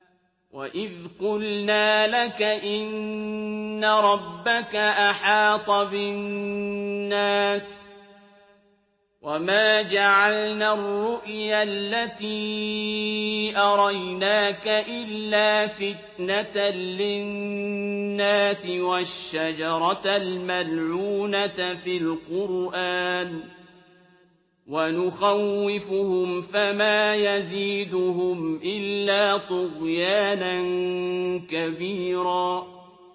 وَإِذْ قُلْنَا لَكَ إِنَّ رَبَّكَ أَحَاطَ بِالنَّاسِ ۚ وَمَا جَعَلْنَا الرُّؤْيَا الَّتِي أَرَيْنَاكَ إِلَّا فِتْنَةً لِّلنَّاسِ وَالشَّجَرَةَ الْمَلْعُونَةَ فِي الْقُرْآنِ ۚ وَنُخَوِّفُهُمْ فَمَا يَزِيدُهُمْ إِلَّا طُغْيَانًا كَبِيرًا